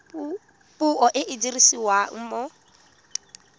puo e e dirisiwang mo